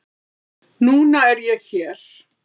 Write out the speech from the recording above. Núna er ég hér.